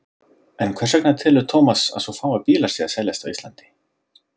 En hvers vegna telur Thomas að svo fáir bílar séu að seljast á Íslandi?